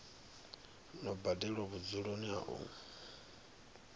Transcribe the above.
no badelwa vhudzuloni ha u